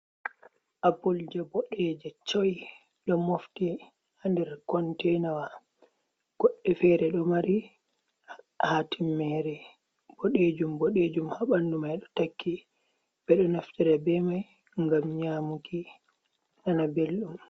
Apul je boɗɗeje choi ɗo mofti ha nɗer containawa, Goɗɗe fere ɗo mari ha timmere boɗejum boɗejum ha ɓandu mai ɗo takki ɓedo naftira ɓe mai gam nyamuki nana ɓeldum.